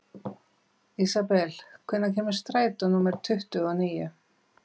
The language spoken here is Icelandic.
Ísabel, hvenær kemur strætó númer tuttugu og níu?